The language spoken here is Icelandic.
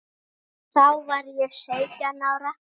Þá var ég sautján ára.